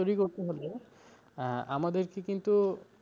তৈরি করতে হলে আহ আমাদেরকে কিন্তু,